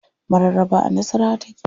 Mararaba a nasawara take.